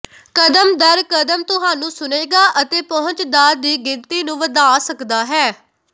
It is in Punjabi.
ਕਦਮ ਦਰ ਕਦਮ ਤੁਹਾਨੂੰ ਸੁਣੇਗਾ ਅਤੇ ਪਹੁੰਚ ਦਾ ਦੀ ਗਿਣਤੀ ਨੂੰ ਵਧਾ ਸਕਦਾ ਹੈ